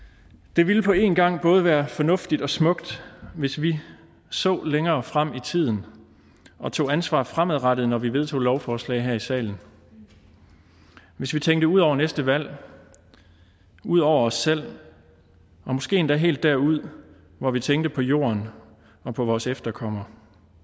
det ville på en gang både være fornuftigt og smukt hvis vi så længere frem i tiden og tog ansvar fremadrettet når vi vedtog lovforslag her i salen hvis vi tænkte ud over næste valg ud over os selv og måske endda helt derud hvor vi tænkte på jorden og på vores efterkommere